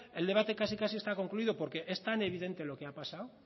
el debate casi casi está concluido porque es tan evidente lo que ha pasado